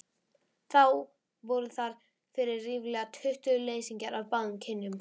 Þá voru þar fyrir ríflega tuttugu leysingjar af báðum kynjum.